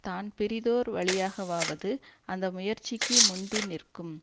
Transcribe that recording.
தான் பிறிதோர் வழியாகவாவது அந்த முயற்சிக்கு முந்தி நிற்கும்